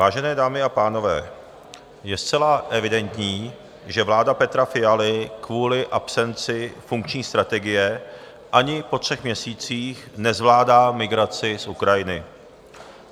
Vážené dámy a pánové, je zcela evidentní, že vláda Petra Fialy kvůli absenci funkční strategie ani po třech měsících nezvládá migraci z Ukrajiny.